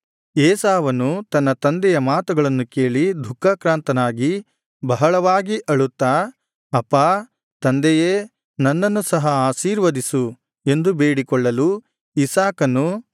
ಏಸಾವನು ತನ್ನ ತಂದೆಯ ಮಾತುಗಳನ್ನು ಕೇಳಿ ದುಃಖಾಕ್ರಾಂತನಾಗಿ ಬಹಳವಾಗಿ ಅಳುತ್ತಾ ಅಪ್ಪಾ ತಂದೆಯೇ ನನ್ನನ್ನು ಸಹ ಆಶೀರ್ವದಿಸು ಎಂದು ಬೇಡಿಕೊಳ್ಳಲು ಇಸಾಕನು